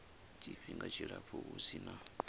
tshifhinga tshilapfu hu si na